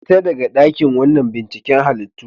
Fita daga wannan dakin binciken halittu.